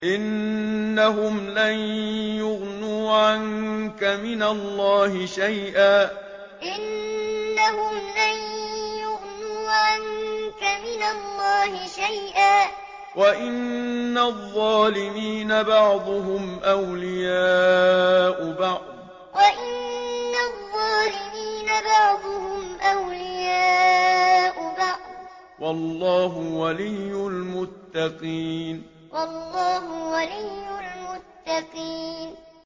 إِنَّهُمْ لَن يُغْنُوا عَنكَ مِنَ اللَّهِ شَيْئًا ۚ وَإِنَّ الظَّالِمِينَ بَعْضُهُمْ أَوْلِيَاءُ بَعْضٍ ۖ وَاللَّهُ وَلِيُّ الْمُتَّقِينَ إِنَّهُمْ لَن يُغْنُوا عَنكَ مِنَ اللَّهِ شَيْئًا ۚ وَإِنَّ الظَّالِمِينَ بَعْضُهُمْ أَوْلِيَاءُ بَعْضٍ ۖ وَاللَّهُ وَلِيُّ الْمُتَّقِينَ